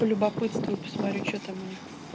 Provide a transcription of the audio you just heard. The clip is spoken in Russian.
полюбопытствую посмотрю что там у них